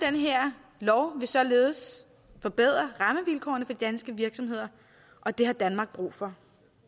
her lov vil således forbedre rammevilkårene for de danske virksomheder og det har danmark brug for